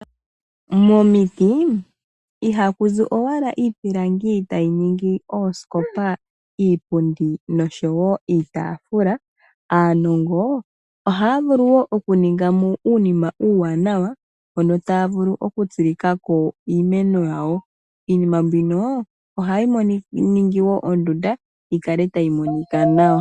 Momiti ohaku zi owala iipilangi tayi ningi oosikopa, iipundi noshowo iitaafula aanongo ohaya vulu woo okuninga mo uunima uuwanawa mono taya vulu okutsilika ko iimeno yawo. Iimeno mbino hayi ningi woo oondunda dhi kale tadhi monika nawa.